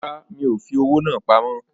Rárá, mi ò fi owó náà pamọ́